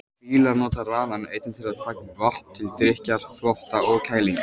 Fílar nota ranann einnig til að taka upp vatn, til drykkjar, þvotta og kælingar.